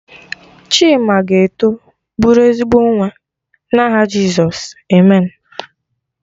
Chima ga-eto bụrụ ezigbo nwa, na aha Jizọs, Amen.